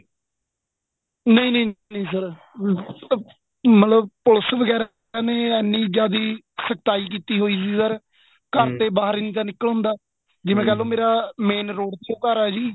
ਨਹੀਂ ਨਹੀਂ sir ਮਤਲਬ ਪੁਲਿਸ ਵਗੈਰਾ ਨੇ ਐਨੀਂ ਜਿਆਦੀ ਸਖਤਾਈ ਕੀਤੀ ਹੋਈ sir ਘਰ ਦੇ ਬਹਾਰ ਹੀ ਨਹੀਂ ਨਿਕਲਣ ਤਾਂ ਜਿਵੇਂ ਕਹਿਲੋ ਮੇਰਾ main road ਤੇ ਘਰ ਆ ਜੀ